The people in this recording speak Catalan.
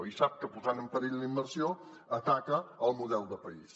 i sap que posant en perill la immersió ataca el model de país